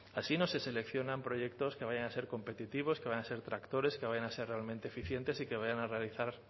así no se seleccionan proyectos que vayan a ser competitivos que vayan a ser tractores que vayan a ser realmente eficientes y que vayan a realizar